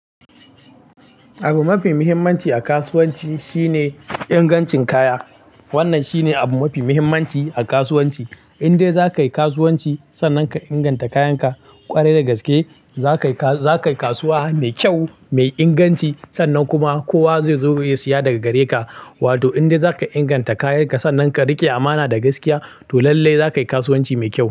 Abu mafi muhimmanci a kasuwanci shine ingancin kaya. Wannan shine abu mafi muhimmanci a kasuwanci. Indai za ka yi kasuwanci sannan ka inganta kayanka ƙwarai da gaske, za ka yi kasuwa mai kyau mai inganci sannan kuma kowa zai zo ya saya daga gare ka. Wato indai za ka inganta kayanka sannan ka riƙe amana da gaskiya to lallai za ka yi kasuwanci mai kyau.